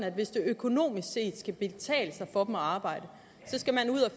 at hvis det økonomisk set skal kunne betale sig for dem at arbejde så skal man ud og